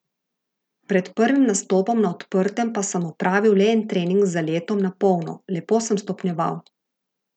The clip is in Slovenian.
Pred prvim nastopom na odprtem pa sem opravil le en trening z zaletom na polno, lepo sem stopnjeval.